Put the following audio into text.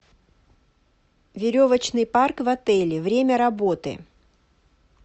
веревочный парк в отеле время работы